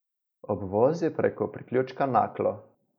Obvoz je preko priključka Naklo.